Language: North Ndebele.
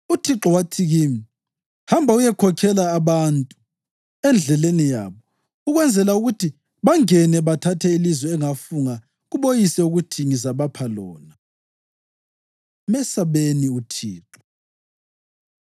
UThixo wathi kimi, ‘Hamba uyekhokhela abantu endleleni yabo, ukwenzela ukuthi bangene bathathe ilizwe engafunga kuboyise ukuthi ngizabapha lona.’ ” Mesabeni UThixo